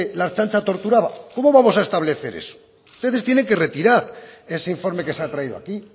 la ertzaintza torturaba cómo vamos a establecer eso ustedes tienen que retirar ese informe que se ha traído aquí y